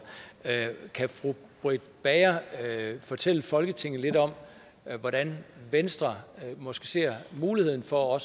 kan fru britt bager fortælle folketinget lidt om hvordan venstre måske ser muligheden for